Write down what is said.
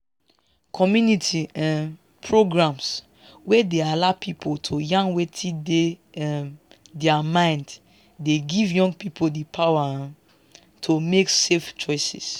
community um programs wey dey allow people to yarn wetin dey um their mind dey give young people di power um to make safe choices